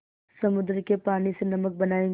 समुद्र के पानी से नमक बनायेंगे